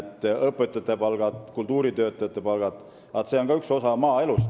Ka õpetajate ja kultuuritöötajate palgad on üks osa maaelust.